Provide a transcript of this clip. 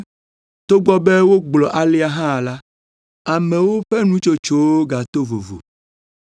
Togbɔ be wogblɔ alea hã la, amewo ƒe nutsotsowo gato vovo.